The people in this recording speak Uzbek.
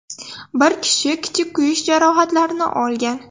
Bir kishi kichik kuyish jarohatlarini olgan.